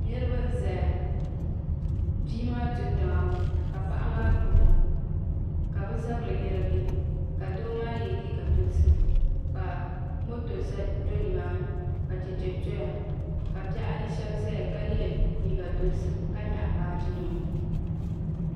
Niraba n ʒɛya bia maa do tiŋa ka paɣa maa gbubo ka bi zabiri yirigi ka doo maa yɛ liiga dozim ka moto do nimaani ka chɛchɛ ʒɛya ka bihi ayi shab doya ka yɛ liiga dozim ka nyaɣa baaji nima